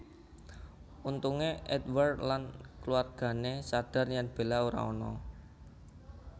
Untungé Edward lan kulawargané sadhar yen Bella ora ana